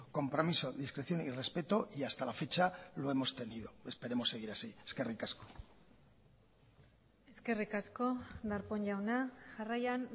compromiso discreción y respeto y hasta la fecha lo hemos tenido esperemos seguir así eskerrik asko eskerrik asko darpón jauna jarraian